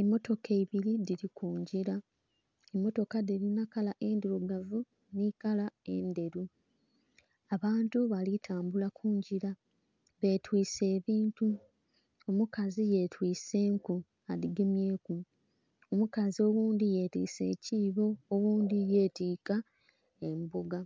Emotoka ibiri dhiri kungira, emotoka diri nikala endhirugavu n'ekala endheru abantu balikutambula kungira betwise ebintu, omukazi yetwise enku adhigemyeku, omukazi oghundhi yetwise ekibo oghundhi yetika emboga,